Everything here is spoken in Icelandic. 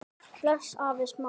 Bless afi Smári.